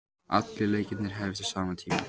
Allir leikirnir hefjast á sama tíma